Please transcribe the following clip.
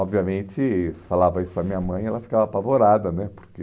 Obviamente, falava isso para minha mãe, ela ficava apavorada né, porque...